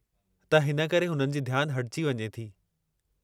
त हिन करे हुननि जी ध्यानु हटिजी वञे थी।